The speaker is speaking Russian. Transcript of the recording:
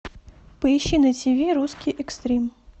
поищи на тв русский экстрим